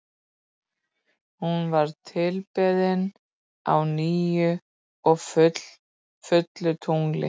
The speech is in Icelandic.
Hún var tilbeðin á nýju og fullu tungli.